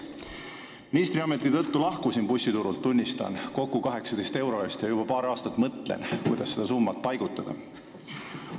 Ministriameti tõttu lahkusin bussiturult, tunnistan, kokku 18 euro eest ja juba paar aastat mõtlen, kuidas seda summat paigutada.